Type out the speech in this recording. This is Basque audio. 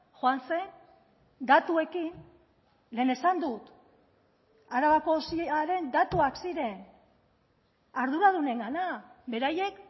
joan zen datuekin lehen esan dut arabako osiaren datuak ziren arduradunengana beraiek